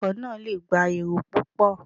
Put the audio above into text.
Ọkọ̀ náà lè gbà èrò púpò.